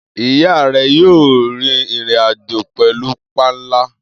Iya rẹ yoo rin irin-ajo pẹlu panla.